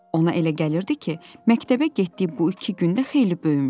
Ona elə gəlirdi ki, məktəbə getdiyi bu iki gündə xeyli böyümüşdü.